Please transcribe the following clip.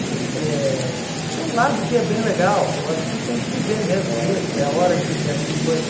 eh Tem um lado que é bem legal, que eu acho que tem que viver mesmo isso, é a hora de viver essas coisas.